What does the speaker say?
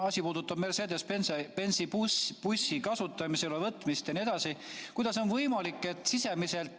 Asi puudutab Mercedes‑Benzi bussi kasutusele võtmist jne.